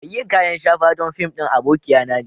Mai yin kayan shafa don fim ɗin abokia na ne.